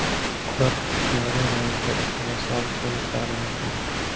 Ular ixtiyoriy ravishda ijtimoiy soliq to‘lashlari mumkin .